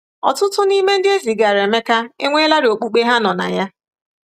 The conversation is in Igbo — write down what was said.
Ọtụtụ n’ime ndị e zigara Emeka enweelarị okpukpe ha nọ na ya.